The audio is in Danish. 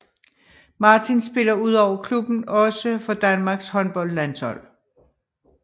Martin spiller udover klubben også for Danmarks håndboldlandshold